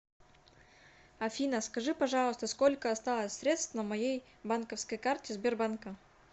афина скажи пожалуйста сколько осталось средств на моей банковской карте сбербанка